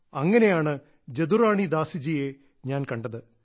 അങ്ങനെയാണ് ജദുറാണി ദാസിജിയെ ഞാൻ കണ്ടത്